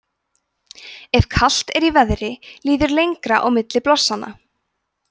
ef kalt er í veðri líður lengra á milli blossanna